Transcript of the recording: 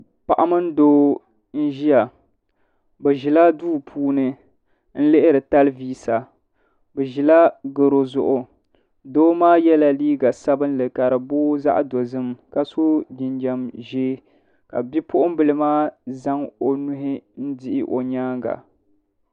Paɣa mini doo n ʒiya. Bɛ ʒila duu puuni n lihiri talvisa. Bɛ ʒila garo zuɣu. Doo maa yela liiga sabinli ka booi zaɣi dozim ka so jinjam ʒee la bipuɣimbila maa zaŋ o nuhi n dihi o nyaaŋa